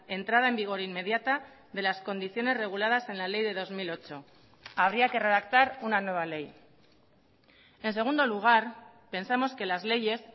entrada en vigor inmediata de las condiciones reguladas en la ley de dos mil ocho habría que redactar una nueva ley en segundo lugar pensamos que las leyes